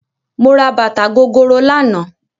Mo ra bàtà gogoro lánàá